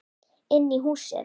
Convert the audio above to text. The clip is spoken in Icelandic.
Inn í húsið?